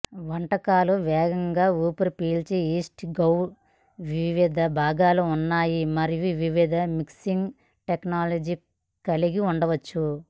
వంటకాలు వేగంగా ఊపిరి పీల్చు ఈస్ట్ డౌ వివిధ భాగాలు ఉన్నాయి మరియు వివిధ మిక్సింగ్ టెక్నాలజీ కలిగి ఉండవచ్చు